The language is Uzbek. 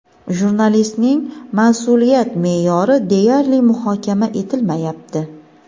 jurnalistning mas’uliyat me’yori deyarli muhokama etilmayapti.